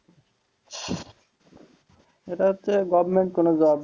সেটা হচ্ছ government কোনো job